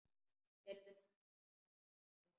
Heyrðu, nú man ég.